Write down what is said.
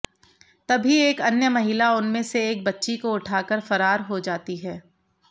तभी एक अन्य महिला उनमें से एक बच्ची को उठाकर फरार हो जाती है